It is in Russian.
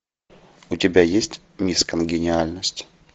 у тебя есть мисс конгениальность